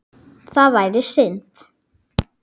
Það væri synd.